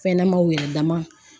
Fɛn ɲɛnamaw yɛrɛ dama